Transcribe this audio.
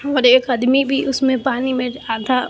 और एक आदमी भी उसमें पानी में आधा--